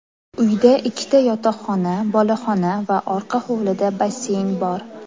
Uyda ikkita yotoqxona, boloxona va orqa hovlida basseyn bor.